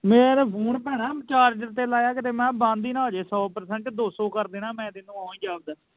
ਮੈ ਤੇ ਫੋਨ ਭੈਣਾਂ charger ਤੇ ਲਾਇਆ ਕਿਤੇ ਮੈ ਕਿਹਾ ਬੰਦ ਈ ਨਾ ਹੋਜੇ ਸੌ percent ਆ ਦੋ ਸੌ ਕਰ ਦੇਨਾ ਮੈ ਤੇ ਇਹਨੂੰ ਓ ਈ ਜਾਪਦਾ।